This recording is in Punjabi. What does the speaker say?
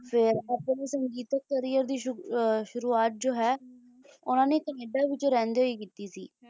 ਚਲੇ ਆਪਣੇ ਸੰਗੀਤ career ਦੀ ਸ਼ੁਰੂਆਤ ਜੋ ਹੈ ਉਨ੍ਹਾਂ ਨੇ ਕਨੇਡਾ ਵਿੱਚ ਰਹਿੰਦੇ ਹੀ ਕੀਤੀ ਸੀ